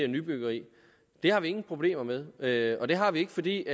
nybyggeri har vi ingen problemer med med og det har vi ikke fordi det